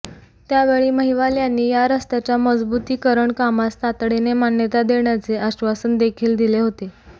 त्यावेळी महिवाल यांनी या रस्त्याच्या मजबुतीकरण कामास तातडीने मान्यता देण्याचे आश्वासन देखील दिले होते